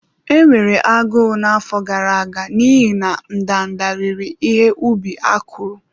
Enwere agụụ n'afọ gara aga n'ihi na ndanda riri ihe ubi akụrụ.